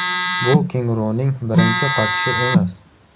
Bu kenguruning birinchi qochishi emas.